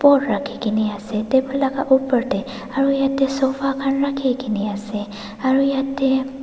rakhikae na ase table laka opor tae aru yatae sofa khan rakhikaena ase aru yatae--